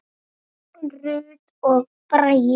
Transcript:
Rut og Bragi.